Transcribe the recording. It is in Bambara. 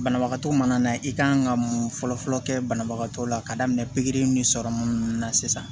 Banabagatɔ mana na i kan ka mun fɔlɔfɔlɔ kɛ banabagatɔ la ka daminɛ pikiri ni sɔrɔmu ninnu na sisan